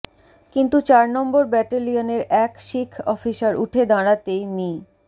কিন্তু চার নম্বর ব্যাটালিয়নের এক শিখ অফিসার উঠে দাঁড়াতেই মি